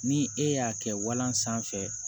Ni e y'a kɛ walan sanfɛ